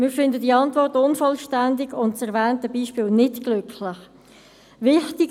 Wir finden diese Antwort unvollständig und das erwähnte Beispiel nicht glücklich gewählt.